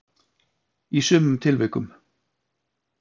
í sumum tilvikum.